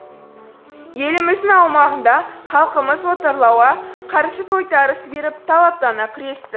еліміздің аумағында халқымыз отарлауға қарсы тойтарыс беріп талаптана күресті